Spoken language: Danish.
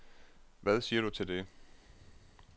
Hvad siger du til det?